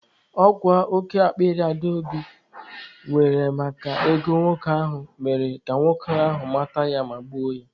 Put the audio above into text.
Ọ kwa oke akpịrị Adaobi nwere maka ego nwoke ahụ mere ka nwoke ahụ mata ya ma gbuo ya.